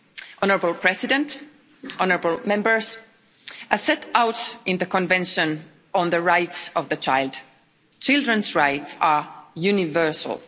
Honourable President, honourable Members, as set out in the Convention on the Rights of the Child, children's rights are universal.